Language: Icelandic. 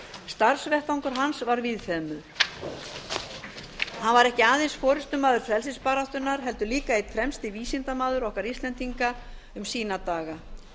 starfsvettvangur hans var víðfeðmur hann var ekki aðeins forustumaður frelsisbaráttunnar heldur líka einn fremsti vísindamaður okkar íslendinga um sína daga